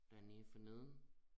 Dernede for neden